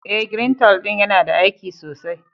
Eh, " greentole " din yana da aiki sosai.